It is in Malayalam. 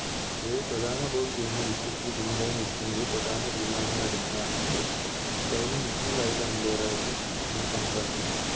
ഈയൊരു പ്രധാന Team നു Wicket ന് പിന്നിലായി നിൽക്കുന്നത് പ്രധാന തീരുമാനങ്ങളെടുക്കുന്ന അംഗങ്ങൾ Side ൽ നിൽക്കുന്നയാളുടെ Umpire ആയിട്ട് നമ്മൾ കണക്കാക്കുന്നു